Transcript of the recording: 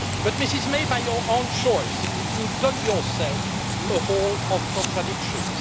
Mrs May, by your own choice you dug yourself a hole of contradictions.